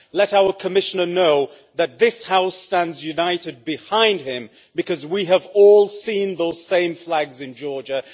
Let our Commissioner know that this House stands united behind him because we have all seen those same flags in Georgia.